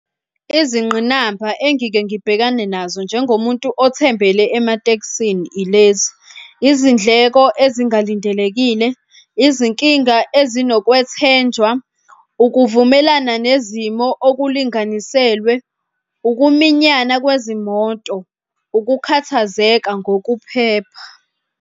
Izingqinamba engike ngibhekane nazo njengomuntu othembele ematekisini ilezi, izindleko ezingalindelekile, izinkinga ezinokwethenjwa, ukuvumelana nezimo okulinganiselwe, ukuminyana kwezimoto, ukukhathazeka ngokuphepha.